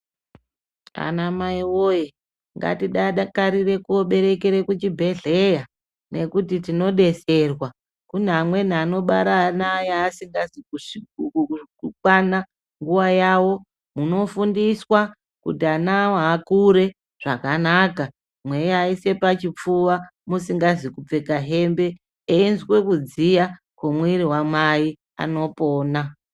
Ana mai woye ngatidakarire koberekere kuzvibhedhlera nekuti tinodetserwa Kune amweni anobara ana aya asingazi kukwana nguva yavo munofundiswa kuti ana awo akure zvakanaka mweiaise pachipfuva musikazi kupfeka hembe eizwe kudziya kwemwiri wamai anopona